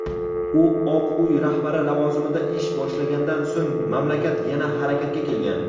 u Oq uy rahbari lavozimida ish boshlagandan so‘ng mamlakat yana "harakatga kelgan".